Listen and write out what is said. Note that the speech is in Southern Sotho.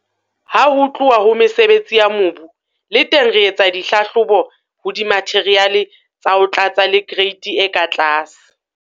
Ha ho tluwa ho mesebetsi ya mobu, le teng re etsa dihlahlobo ho dimatheriale tsa ho tlatsa le kereiti e ka tlase.